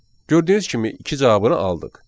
Gördüyünüz kimi iki cavabını aldıq.